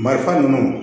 Marifa ninnu